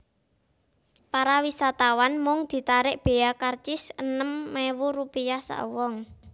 Para wisatawan mung ditarik bea karcis enem ewu rupiah sak wong